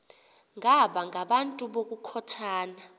baba ngabantu ngokukhothana